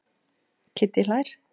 Kiddi hlær.